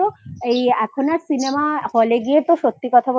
বলতোএখন আর Cinema hall এ গিয়ে সত্যি কথা বলতে